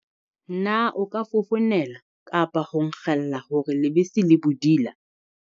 Na o ka fofonela kapa ho nkgella hore lebese le bodila.